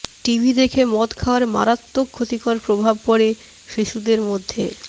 TV দেখে মদ খাওয়ার মারাত্মক ক্ষতিকর প্রভাব পড়ে শিশুদের মধ্যে